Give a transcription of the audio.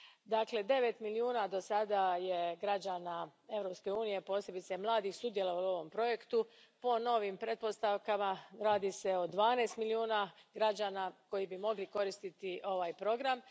Dakle, devet milijuna do sada je građana Europske unije, posebice mladih, sudjelovalo u ovom projektu, po novim pretpostavkama radi se o dvanaest milijuna građana koji bi mogli koristiti ovaj program.